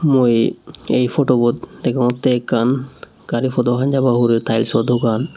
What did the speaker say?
mui eh photobot degongte ekan gari podho hanjaba hureh tileso dogan.